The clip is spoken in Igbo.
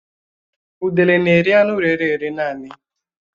Udele n'eri anụ rére ere naanị